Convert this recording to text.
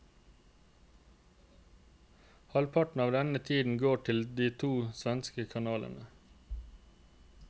Halvparten av denne tiden går til de to svenske kanalene.